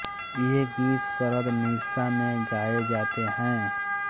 ये गीत शरद निशा में गाए जाते हैं